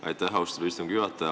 Austatud istungi juhataja!